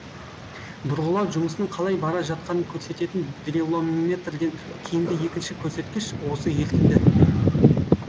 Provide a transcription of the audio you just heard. бұрғылау жұмысының қалай бара жатқанын көрсететін дриллометрден кейінгі екінші көрсеткіш осы ертінді